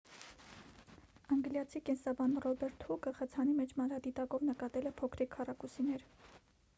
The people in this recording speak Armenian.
անգլիացի կենսաբան ռոբերտ հուկը խցանի մեջ մանրադիտակով նկատել է փոքրիկ քառակուսիներ